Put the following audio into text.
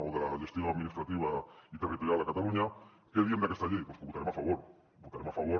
o de la gestió administrativa i territorial a catalunya què diem d’aquesta llei doncs que hi votarem a favor hi votarem a favor